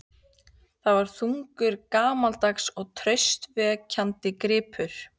Það var þungur, gamaldags og traustvekjandi gripur.